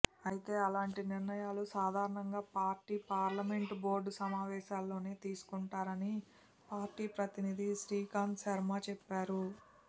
అయితే అలాంటి నిర్ణయాలు సాధారణంగా పార్టీ పార్లమెంటు బోర్డు సమావేశాల్లోనే తీసుకుంటారని పార్టీ ప్రతినిధి శ్రీకాంత్ శర్మ చెప్పారు